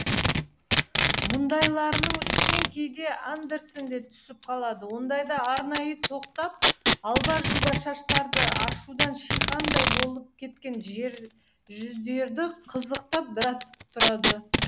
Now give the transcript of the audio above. мұндайларының үстінен кейде андерсен де түсіп қалады ондайда арнайы тоқтап алба жұлба шаштарды ашудан шиқандай болып кеткен жүздерді қызықтап біраз тұрады